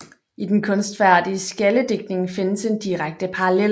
I den kunstfærdige skjaldedigtning findes en direkte parallel